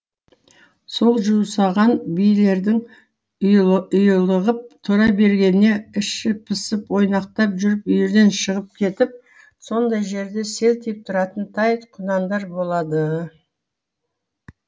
сол жусаған биелердің ұйлығып тұра бергеніне іші пысып ойнақтап жүріп үйірден шығып кетіп сондай жерде селтиіп тұратын тай құнандар болады